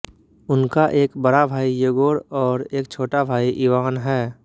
उनका एक बड़ा भाई येगोर और एक छोटा भाई इवान है